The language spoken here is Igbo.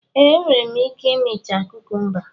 Ee, enwere m ike imecha kukumba.